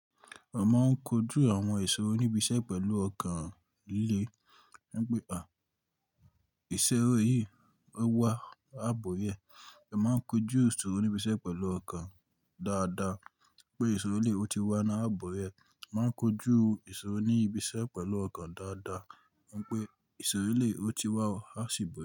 Mo máa ń kojú àwọn ìṣòro oníbi iṣẹ́ pẹ̀lú ọkàn líle, wípé "à, ìṣòro yìí ó wà á bọ́ orí ẹ". Mo máa ń kojú ìṣòro oníbi iṣẹ́ pẹ̀lú ọkàn dáadáa pé ìṣòro lè ó ti wà náà á bọ́ orí ẹ. A máa ń kojú ìṣòro oníbi iṣẹ́ pẹ̀lú ọkàn dáadaa wípé ìṣòro lè ó ti wà ó á ṣí bo.